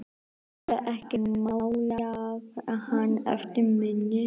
Geturðu ekki málað hann eftir minni?